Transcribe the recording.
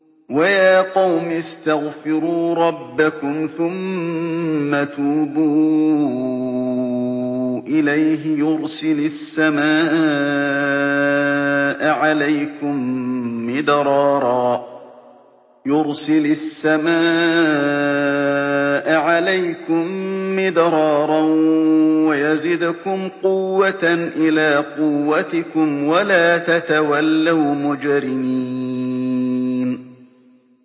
وَيَا قَوْمِ اسْتَغْفِرُوا رَبَّكُمْ ثُمَّ تُوبُوا إِلَيْهِ يُرْسِلِ السَّمَاءَ عَلَيْكُم مِّدْرَارًا وَيَزِدْكُمْ قُوَّةً إِلَىٰ قُوَّتِكُمْ وَلَا تَتَوَلَّوْا مُجْرِمِينَ